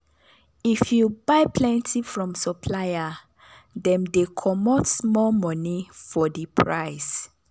if you buy plenty from supplier dem dey comot small money for the price